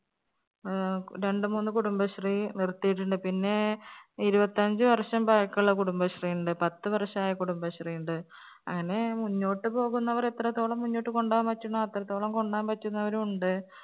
ഏർ രണ്ട്‌ മൂന്ന് കുടുംബശ്രീ നിർത്തിണ്ട്‌ പിന്നേ ഇരുപത്തഞ്ച് വർഷം പഴക്കുള്ള കുടുംബശ്രീ ഇണ്ട് പത്ത് വർഷായ കുടുംബശ്രീ ഇണ്ട് അങ്ങനെ മുന്നോട്ട് പോകുന്നവർ എത്രത്തോളം മുന്നോട്ട് കൊണ്ടോവാൻ പറ്റുന്നോ അത്രത്തോളം കൊണ്ടോവാൻ പറ്റുന്നവരും ഉണ്ട്